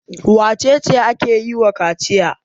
Wace ce ake yi wa kaciya?